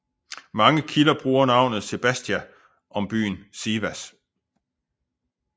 Mange kilder bruger navnet Sebastia om byen Sivas